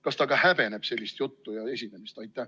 Kas ta häbeneb sellist juttu ja esinemist?